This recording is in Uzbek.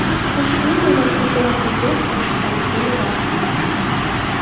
Qo‘shiqning ma’nosini so‘rab bilgach, oshuftaligi yanada ortgan.